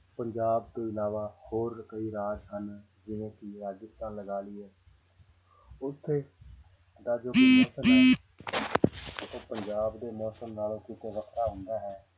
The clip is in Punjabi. ਪੰਜਾਬ ਤੋਂ ਇਲਾਵਾ ਹੋਰ ਕਈ ਰਾਜ ਹਨ ਜਿਵੇਂ ਕਿ ਰਾਜਸਥਾਨ ਲਗਾ ਲਈਏ ਉੱਥੇ ਦਾ ਉਹ ਪੰਜਾਬ ਦੇ ਮੌਸਮ ਨਾਲੋਂ ਕਿਤੇ ਵੱਖਰਾ ਹੁੰਦਾ ਹੈ